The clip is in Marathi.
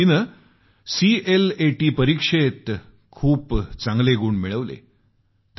तिने सीएलएटीच्या परीक्षेत खूपच चांगली श्रेणीही प्राप्त केली आहे